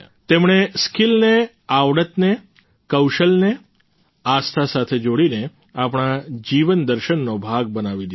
તેમણે સ્કિલને આવડતને કૌશલને આસ્થા સાથે જોડીને આપણા જીવન દર્શનનો ભાગ બનાવી દીધો છે